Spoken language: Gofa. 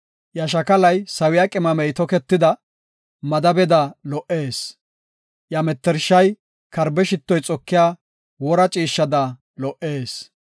Iya shakalay sawiya qimamey toketida madabeda lo77ees; iya mettershay karbe shittoy xokiya wora ciishshada lo77ees.